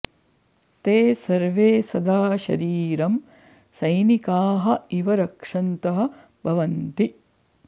ते सर्वे सदा शरीरं सैनिकाः इव रक्षन्तः भवन्ति